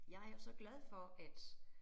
Jeg jo så glad for at